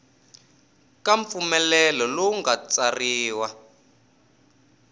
ka mpfumelelo lowu nga tsariwa